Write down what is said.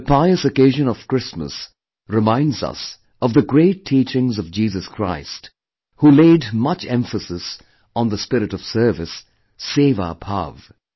The pious occasion of Christmas reminds us of the great teachings of Jesus Christ who laid much emphasis on the spirit of service, 'Sewa bhaav'